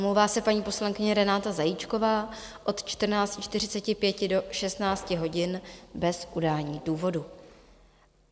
Omlouvá se paní poslankyně Renáta Zajíčkova od 14.45 do 16 hodin bez udání důvodu.